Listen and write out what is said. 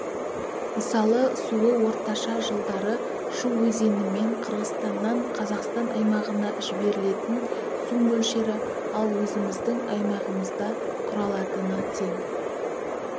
мысалы суы орташа жылдары шу өзенімен қырғызстаннан қазақстан аймағына жіберілетін су мөлшері ал өзіміздің аймағымызда құралатыны тең